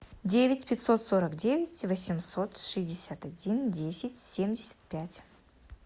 девять пятьсот сорок девять восемьсот шестьдесят один десять семьдесят пять